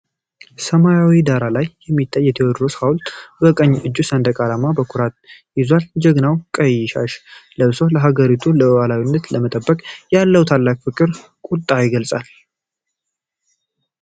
በሰማያዊ ዳራ ላይ የሚታየው የቴዎድሮስ ሐውልት፣ በቀኝ እጁ ሰንደቅ ዓላማ በኩራት ይዟል። ጀግናው ቀይ ሻሽ ለብሶ፣ የሀገሩን ሉዓላዊነት ለመጠበቅ ያለውን ታላቅ ፍቅርና ቁጣ ይገልጻል።